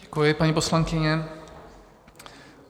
Děkuji, paní poslankyně.